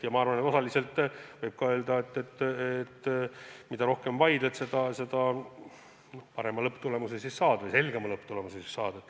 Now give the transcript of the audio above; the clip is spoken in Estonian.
Ja minu arvates võib ka öelda, et mida rohkem vaidled, seda parema või selgema lõpptulemuse saad.